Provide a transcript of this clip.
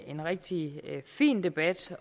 en rigtig fin debat